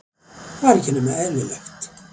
Það er ekki nema eðlilegt.